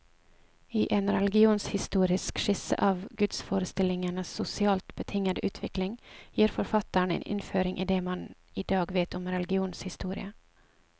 I en religionshistorisk skisse av gudsforestillingenes sosialt betingede utvikling, gir forfatteren en innføring i det man i dag vet om religionens historie.